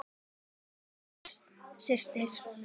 Jæja, Jóhanna systir.